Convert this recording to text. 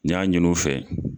N y'a ɲinin u fɛ.